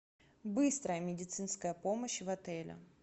быстрая медицинская помощь в отеле